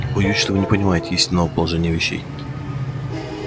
боюсь что вы не понимаете истинного положения вещей